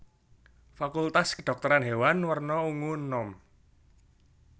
Fakultas Kedhokteran Hewan werna ungu enom